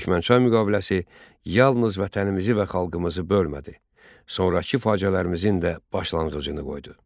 Türkmənçay müqaviləsi yalnız vətənimizi və xalqımızı bölmədi, sonrakı faciələrimizin də başlanğıcını qoydu.